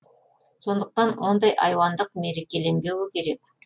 сондықтан ондай айуандық мерекеленбеуі керек